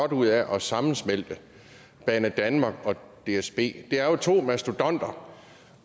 godt ud af at sammensmelte banedanmark og dsb det er jo to mastodonter